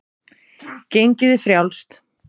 Gengið er frjálst.